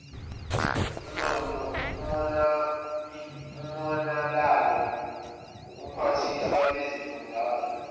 umonalalo kubuphathiswa besifundazwe